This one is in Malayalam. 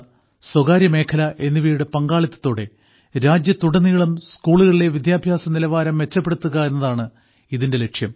സ്വകാര്യമേഖല എന്നിവയുടെ പങ്കാളിത്തത്തോടെ രാജ്യത്തുടനീളമുള്ള സ്കൂളുകളിലെ വിദ്യാഭ്യാസനിലവാരം മെച്ചപ്പെടുത്തുക എന്നതാണ് ഇതിന്റെ ലക്ഷ്യം